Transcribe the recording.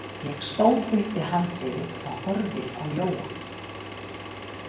Ég stóð upp við handriðið og horfði á Jóa.